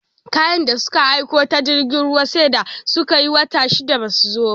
Kayan da suka aiko ta jirgin ruwa sai da suka yi wata shida basu zo ba